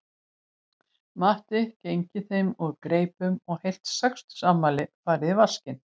Matti genginn þeim úr greipum og heilt sextugsafmæli farið í vaskinn